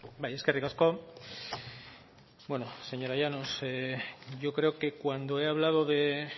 bai eskerrik asko bueno señora llanos yo creo que cuando he hablado de